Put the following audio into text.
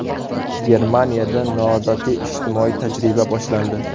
Germaniyada noodatiy ijtimoiy tajriba boshlandi.